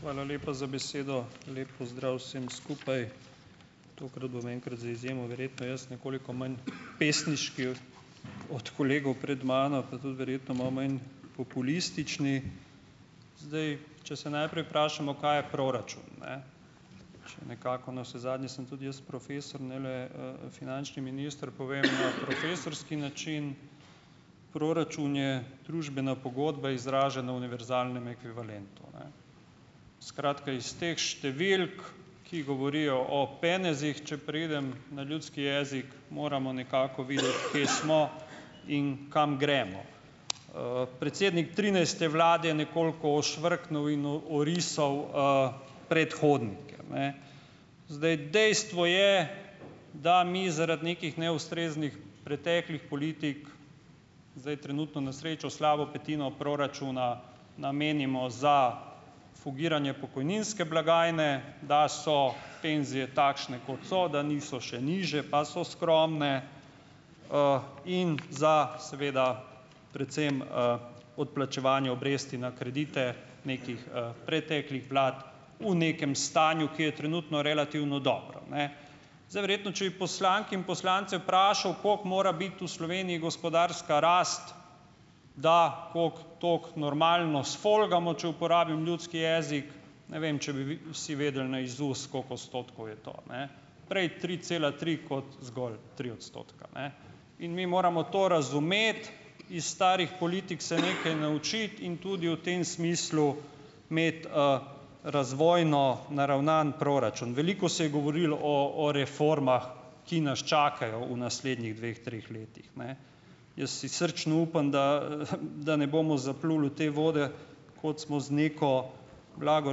Hvala lepa za besedo. Lep pozdrav vsem skupaj! Tokrat bom enkrat za izjemo verjetno jaz nekoliko manj pesniški od od kolegov pred mano, pa tudi verjetno malo manj populističen, zdaj če se najprej vprašamo, kaj je proračun, ne, če nekako navsezadnje sem tudi jaz profesor, ne le, finančni minister, povem na profesorski način. Proračun je družbena pogodba, izražena v univerzalnem ekvivalentu. Ne. Skratka, iz teh številk, ki govorijo o penezih, če preidem na ljudski jezik, moramo nekako videti, kje smo in kam gremo. Predsednik trinajste vlade je nekoliko ošvrknil in orisal, predhodnike, ne. Zdaj, dejstvo je, da mi zaradi nekih neustreznih preteklih politik, zdaj, trenutno na srečo slabo petino proračuna namenimo za fugiranje pokojninske blagajne, da so penzije takšne, kot so, da niso e nižje, pa so skromne, in za, seveda, predvsem, odplačevanje obresti na kredite nekih, preteklih vlad v nekem stanju, ki je trenutno relativno dobro. Ne. Zdaj, verjetno če bi poslanke in poslance vprašal, koliko mora biti v Sloveniji gospodarska rast, da kako tako normalno sfolgamo, če uporabim ljudski jezik, ne vem, če bi vi vsi vedeli, ne, iz ust, koliko odstotkov je to. Ne. Prej tri cela tri kot zgolj tri odstotke, ne. In mi moramo to razumeti, iz starih politik se nekaj naučiti in tudi v tem smislu imeti, razvojno naravnan proračun. Veliko se je govorili o o reformah, ki nas čakajo v naslednjih dveh, treh letih. Ne. Jaz si srčno upam, da, da ne bomo zapluli v te vode, kot smo z neko, blago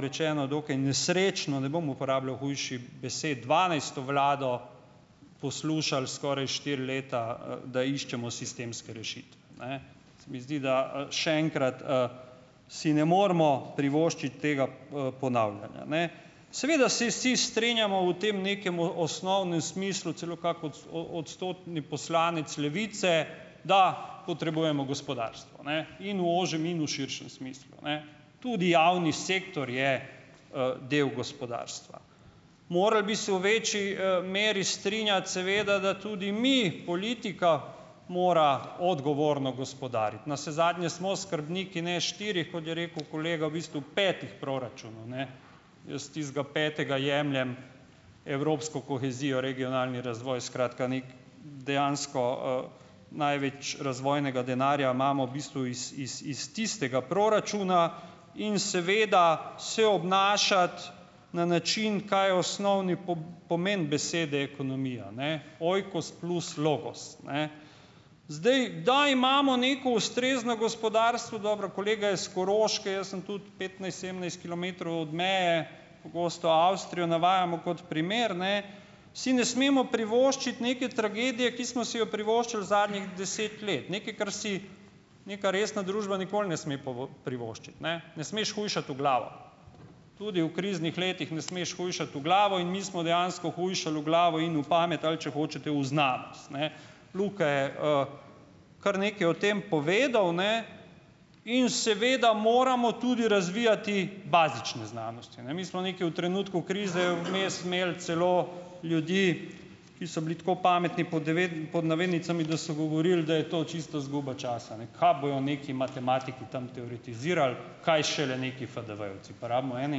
rečeno, dokaj nesrečno, ne bom uporabljal hujših besed, dvanajsto vlado poslušal skoraj štiri leta, da iščemo sistemske rešitve. Ne. Se mi zdi, da, še enkrat, si ne moremo privoščiti tega, ponavljanja. Ne. Seveda se vsi strinjamo v tem nekem osnovnem smislu, celo kako odstotni poslanec Levice, da potrebujemo gospodarstvo, ne, in v ožjem in v širšem smislu. Ne. Tudi javni sektor je, del gospodarstva. Morali bi se v večji, meri strinjati seveda, da tudi mi, politika, mora odgovorno gospodariti. Navsezadnje smo skrbniki, ne, štirih, kot je rekel kolega, v bistvu petih proračunov, ne. Jaz tistega petega jemljem evropsko kohezijo, regionalni razvoj, skratka nekaj dejansko, največ razvojnega denarja imamo v bistvu it iz iz tistega proračuna in seveda se obnašati na način, kaj je osnovni pomen besede ekonomija, ne, oikos plus logos, ne. Zdaj, da imamo neko ustrezno gospodarstvo, dobro, kolega je iz Koroške, jaz sem tudi petnajst, sedemnajst kilometrov od meje, pogosto Avstrijo navajamo kot primer, ne, si ne smemo privoščiti neke tragedije, ki smo si jo privoščili zadnjih deset let, nekaj, kar si neka resna družba nikoli ne sme privoščiti, ne. Ne smeš hujšati v glavo, tudi v kriznih letih ne smeš hujšati v glavo in mi smo dejansko hujšali v glavo in v pamet, ali če hočete, v znanost, ne. Luka je, kar nekaj o tem povedal, ne. In seveda moramo tudi razvijati bazične znanosti, ne. Mi smo nekaj v trenutku krize vmes imeli celo ljudi, ki so bili tako pametni, pod pod navednicami, da so govorili, da je to čisto izguba časa, ne, kaj bojo neki matematiki tam teoretizirali, kaj šele nekaj FDV-jevci, pa rabimo ene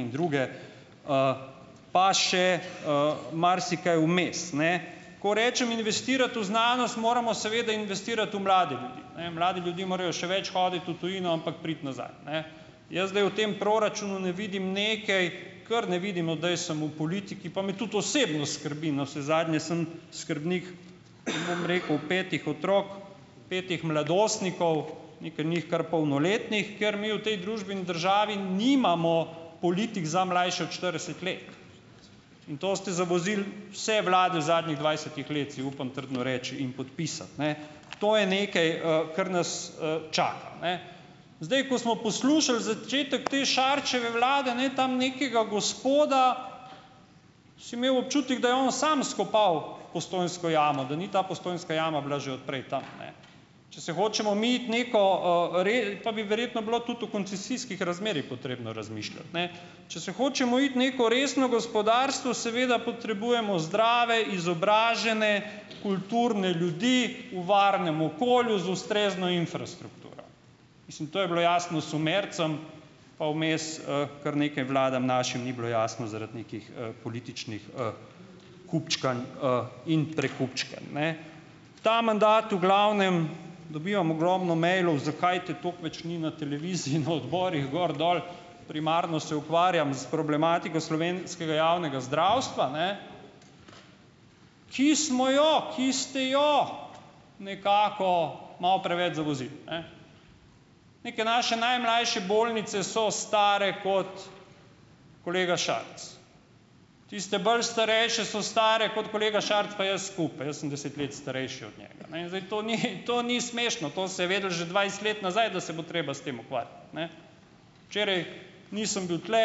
in druge, pa še, marsikaj vmes, ne. Ko rečem investirati v znanost, moramo seveda investirati v mlade ljudi. Ne, mladi ljudje morajo še več hoditi v tujino, ampak priti nazaj, ne. Jaz zdaj v tem proračunu ne vidim nekaj, ker ne vidimo, da je samo v politiki, pa me tudi osebno skrbi, navsezadnje sem skrbnik, bom rekel, petih otrok, petih mladostnikov, nekaj njih kar polnoletnih, ker mi v tej družbi in državi nimamo politik za mlajše od štirideset let, in to ste zavozile vse vlade zadnjih dvajsetih let, si upam trdno reči in podpisati, ne. To je nekaj, kar nas, čaka, ne. Zdaj, ko smo poslušali začetek te Šarčeve vlade, ne, tam nekega gospoda, si imel občutek, da je on samo skopal Postojnsko jamo, da ni ta Postojnska jama bila že od prej tam, ne, če se hočemo mi iti neko, pa bi verjetno bilo tudi o koncesijskih razmerjih potrebno razmišljati, ne, če se hočemo iti neko resno gospodarstvo, seveda potrebujemo zdrave, izobražene, kulturne ljudi v varnem okolju z ustrezno infrastrukturo. Mislim, to je bilo jasno Sumercem pa vmes, kar nekaj vladam našim ni bilo jasno zaradi nekih, političnih, kupčkanj, in prekupčkanj, ne. Ta mandat v glavnem, dobivam ogromno mailov, zakaj te toliko več ni na televiziji, na odborih, gor dol, primarno se ukvarjam s problematiko slovenskega javnega zdravstva, ne, ki smo jo, ki ste jo nekako malo preveč zavozili, ne. Neke naše najmlajše bolnice so stare kot kolega Šarec. Tiste bolj starejše so stare kot kolega Šarec pa jaz skupaj. Jaz sem deset let starejši od njega. Ne, in zdaj, to ni, to ni smešno, to se je vedeli že dvajset let nazaj, da se bo treba s tem ukvarjati, ne. Včeraj nisem bil tule,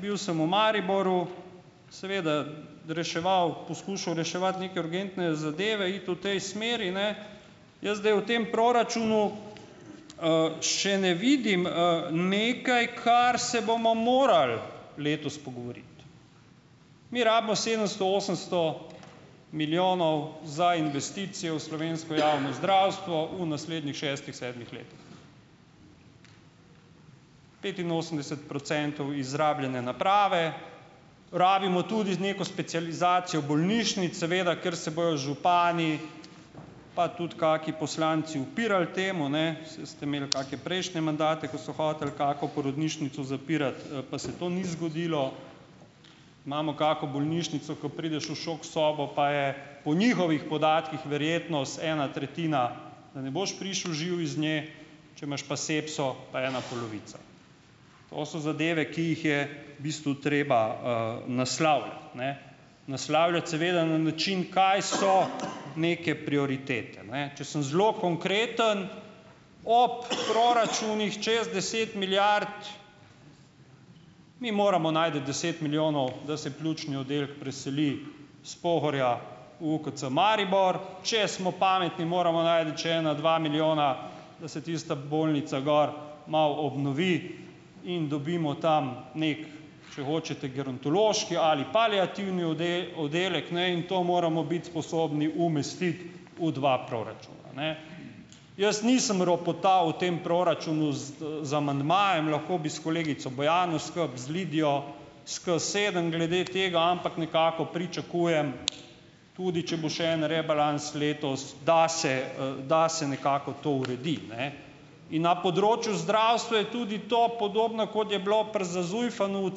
bil sem v Mariboru, seveda reševal, poskušal reševati neke urgentne zadeve, iti v tej smeri, ne, jaz zdaj o tem proračunu, še ne vidim, nekaj, kar se bomo moral letos pogovoriti. Mi rabimo sedemsto, osemsto milijonov za investicije v slovensko Javno zdravstvo v naslednjih šestih, sedmih letih. Petinosemdeset procentov izrabljene naprave, rabimo tudi z neko specializacijo bolnišnic, seveda, ker se bojo župani, pa tudi kakšni poslanci upirali temu, ne, saj ste imeli kake prejšnje mandate, ko so hoteli kako porodnišnico zapirati, pa se to ni zgodilo. Imamo kako bolnišnico, ko prideš v šok sobo, pa je po njihovih podatkih verjetnost ena tretjina, da ne boš prišel živ iz nje, če imaš pa sepso, pa ena polovica. To so zadeve, ki jih je v bistvu treba, naslavljati, ne. Naslavljati seveda na način, kaj so neke prioritete, ne, če sem zelo konkreten ob proračunih čez deset milijard, mi moramo najti deset milijonov, da se pljučni oddelek preseli s Pohorja v UKC Maribor. Če smo pametni, moramo najti še ena dva milijona, da se tista bolnica gor malo obnovi in dobimo tam, nekaj, če hočete gerontološki ali paliativni oddelek, ne, in to moramo biti sposobni umestiti v dva proračuna, ne. Jaz nisem ropotal v tem proračunu z, z amandmajem. Lahko bi s kolegico Bojano skupaj, z Lidijo s ke sedem glede tega, ampak nekako pričakujem, tudi če bo še en rebalans letos, da se, da se nekako to uredi, ne, in na področju zdravstva je tudi to podobno, kot je bilo pri, za ZUJF-u, v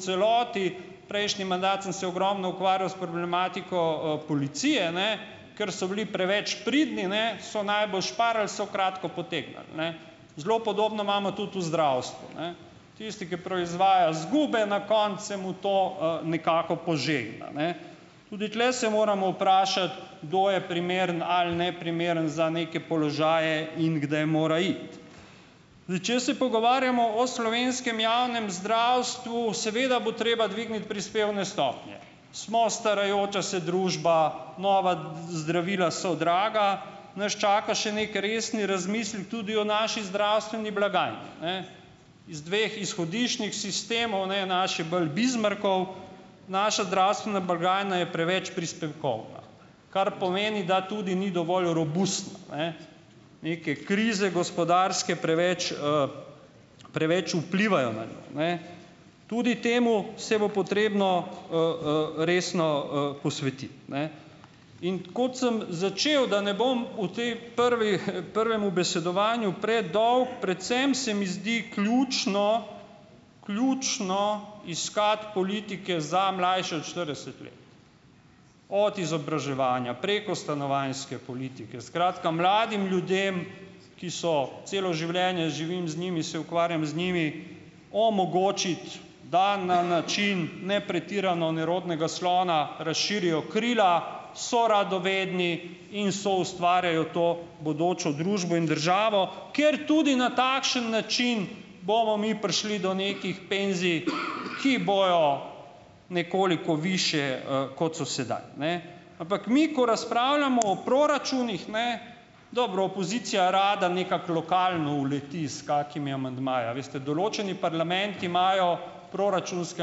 celoti. Prejšnji mandat sem se ogromno ukvarjal s problematiko, policije, ne, ker so bili preveč pridni, ne, so najbolj "parali", so kratko potegnili, ne. Zelo podobno imamo tudi v zdravstvu, ne. Tisti, ki proizvaja izgube, na koncu se mu to, nekako "požegna", ne. Tudi tule se moramo vprašati, kdo je primeren ali neprimeren za neke položaje in kdaj mora iti. Zdaj, če se pogovarjamo o slovenskem javnem zdravstvu, seveda bo treba dvigniti prispevne stopnje. Smo starajoča se družba, nova zdravila so draga, nas čaka še neki resni razmislek tudi o naši zdravstveni blagajni, ne. Iz dveh izhodiščnih sistemov, ne, naš je bolj Bismarckov, naša zdravstvena blagajna je preveč prispevkovna, kar pomeni, da tudi ni dovolj robustna, ne. Neke krize, gospodarske, preveč, preveč vplivajo na njo, ne. Tudi temu se bo potrebno, resno, posvetiti, ne. In kot sem začel, da ne bom v tej prvi prvem ubesedovanju predolg, predvsem se mi zdi ključno, ključno iskati politike za mlajše od štirideset let. Od izobraževanja, preko stanovanjske politike, skratka, mladim ljudem, ki so, celo življenje živim z njimi, se ukvarjam z njimi, omogočiti, da na način ne pretirano nerodnega slona razširijo krila, so radovedni in soustvarjajo to bodočo družbo in državo, ker tudi na takšen način bomo mi prišli do nekih "penzij", ki bojo nekoliko višje, kot so sedaj, ne. Ampak mi, ko razpravljamo o proračunih, ne, dobro, opozicija rada nekako lokalno "uleti" s kakšnimi amandmaji, a veste, določeni parlamenti imajo proračunske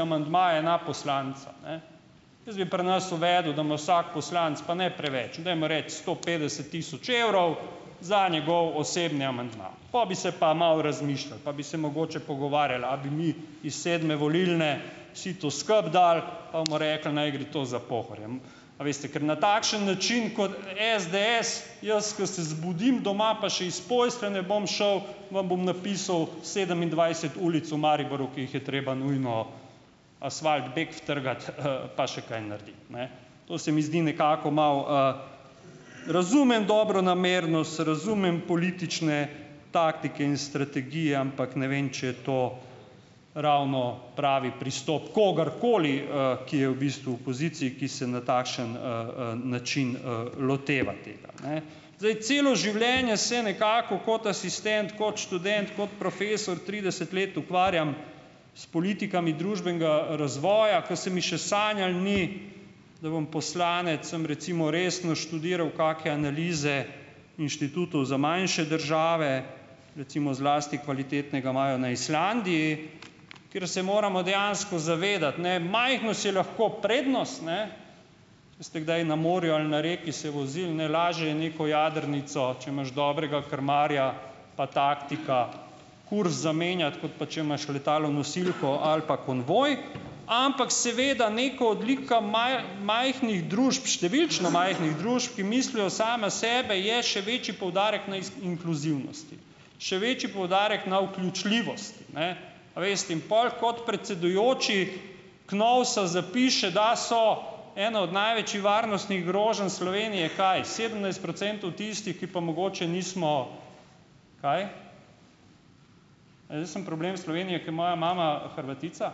amandmaje na poslanca, ne. Jaz bi pri nas uvedel, da ima vsak poslanec, pa ne preveč, dajmo reči, sto petdeset tisoč evrov, za njegov osebni amandma, pol bi se pa malo razmišljalo, pa bi se mogoče pogovarjali, a bi mi iz sedme volilne sito skupaj dali, pa bomo rekli, naj gre to za Pohorje A veste, ker na takšen način kot SDS, jaz, ko se zbudim doma, pa še iz postelje ne bom šel, vam bom napisal sedemindvajset ulic v Mariboru, ki jih je treba nujno asfalt bek utrgati, pa še kaj narediti, ne. To se mi zdi nekako malo, Razumem dobronamernost, razumem politične taktike in strategije, ampak ne vem, če je to ravno pravi pristop kogarkoli, ki je v bistvu v opoziciji, ki se na takšen, način, loteva tega, ne. Zdaj, celo življenje se nekako kot asistent, kot študent, kot profesor trideset let ukvarjam s politikami družbenega razvoja, ker se mi še sanjalo ni, da bom poslanec, sem recimo resno študiral kake analize inštitutov za manjše države - recimo zlasti kvalitetnega imajo na Islandiji - kjer se moramo dejansko zavedati, ne, majhnost je lahko prednost, ne, če ste kdaj na morju ali na reki se vozili, ne, lažje je neko jadrnico, če imaš dobrega krmarja pa taktika, kurz zamenjati, kot pa če imaš letalo nosilko ali pa konvoj, ampak seveda neka odlika majhnih družb - številčno majhnih družb -, ki mislijo samo na sebe, je še večji poudarek na inkluzivnosti, še večji poudarek na vključljivost, ne, a in pol kot predsedujoči KNOVS-a zapiše, da so ena od največjih varnostnih groženj Slovenije - kaj - sedemnajst procentov tistih, ki pa mogoče nismo kaj, ne, jaz sem problem Slovenije, ki je moja mama Hrvatica?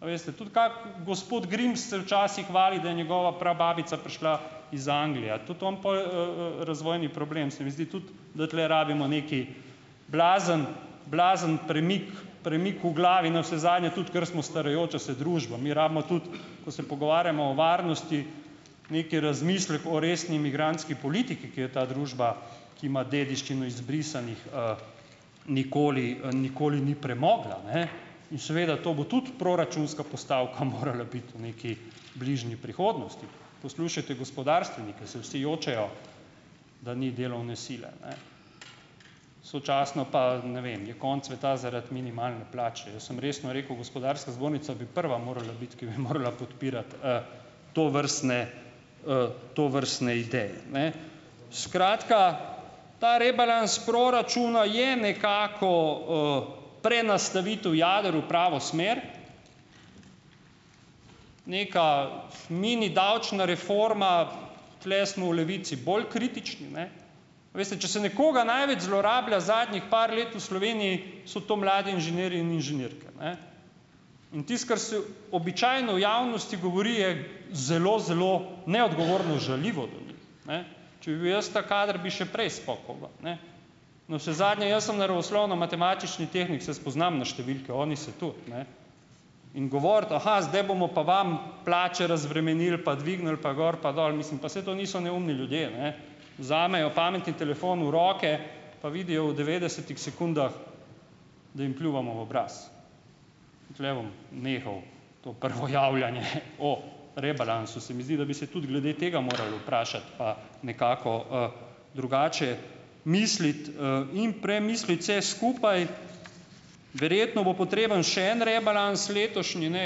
A veste. Tudi kako gospod Grims se včasih hvali, da je njegova prababica prišla iz Anglije. A je tudi on pol, razvojni problem? Se mi zdi tudi, da tule rabimo nekaj blazen blazen premik premik v glavi navsezadnje tudi, ker smo starajoča se družba. Mi rabimo tudi, ko se pogovarjamo o varnosti, neki razmislek o resni imigrantski politiki, ki je ta družba, ki ima dediščino izbrisanih, nikoli nikoli ni premogla, ne, in seveda to bo tudi proračunska postavka morala biti v neki bližnji prihodnosti. Poslušajte gospodarstvenike, saj vsi jočejo, da ni delovne sile, ne, sočasno pa, ne vem, je konec sveta zaradi minimalne plače. Jaz sem resno rekel: "Gospodarska zbornica bi prva morala biti, ki bi morala podpirati, tovrstne, tovrstne ideje, ne." Skratka, ta rebalans proračuna je nekako, prenastavitev jader v pravo smer, neka mini davčna reforma, tule smo v Levici bolj kritični, ne. A veste, če se nekoga največ zlorablja, zadnjih par let v Sloveniji so to mladi inženirji in inženirke, ne. In tisto, kar se običajno v javnosti govori, je zelo zelo neodgovorno, žaljivo do njih, ne. Če bi bil jaz ta kader, bi že prej spokal ven, ne. Navsezadnje jaz sem naravoslovno-matematični tehnik, se spoznam na številke, oni se tudi, ne, in govoriti: zdaj bomo pa vam plače razbremenili pa dvignili pa gor pa dol." Mislim, pa saj to niso neumni ljudje, ne, vzamejo pametni telefon v roke pa vidijo v devetdesetih sekundah, da jim pljuvamo v obraz. Tule bom nehal to prvo javljanje o rebalansu, se mi zdi, da bi se tudi glede tega morali vprašati pa nekako, drugače misliti, in premisliti vse skupaj. Verjetno bo potreben še en rebalans letošnji, ne.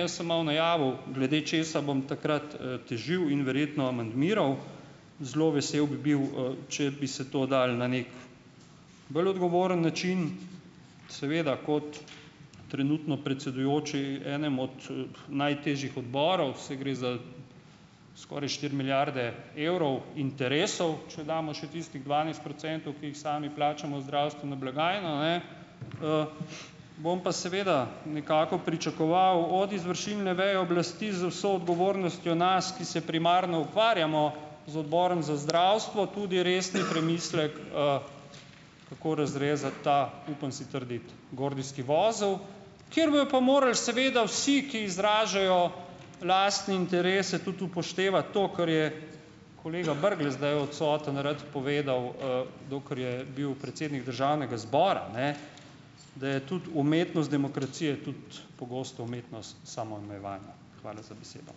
Jaz sem malo najavil, glede česa bom takrat, težil in verjetno amandmiral. Zelo vesel bi bil, če bi se to dalo na neki bolj odgovoren način seveda kot trenutno predsedujoči enemu od, najtežjih odborov, saj gre za skoraj štiri milijarde evrov interesov, če damo še tistih dvanajst procentov, ki jih sami plačamo v zdravstveno blagajno, ne. Bom pa seveda nekako pričakoval od izvršilne veje oblasti z vso odgovornostjo nas, ki se primarno ukvarjamo z Odborom za zdravstvo, tudi resni premislek, kako razrezati ta, upam si trditi, gordijski vozel, kjer bojo pa morali seveda vsi, ki izražajo lastne interese, tudi upoštevati to, kar je - kolega Brglez zdaj je odsoten - rad povedal, dokler je bil predsednik državnega zbora, ne, da je tudi umetnost demokracije tudi pogosto umetnost samoomejevanja. Hvala za besedo.